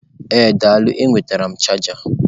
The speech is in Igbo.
Ee daalụ m nwetara chaja.